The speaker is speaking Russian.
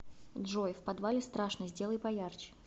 джой в подвале страшно сделай поярче